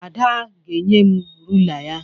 Ada ga-enye m rula ya